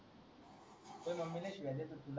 तू ही मम्मी लय शिव्या देत होती